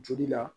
Joli la